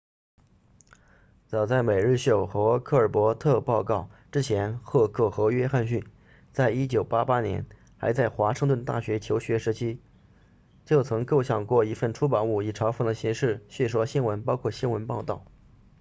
早在每日秀 the daily show 和科尔伯特报告 colbert report 之前赫克 heck 和约翰逊 johnson 在1988年还在华盛顿大学求学时期就曾构想过一份出版物以嘲讽的形式戏说新闻包括新闻报道